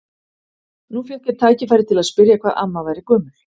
Nú fékk ég tækifæri til að spyrja hvað amma væri gömul.